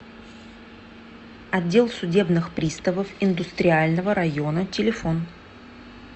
отдел судебных приставов индустриального района телефон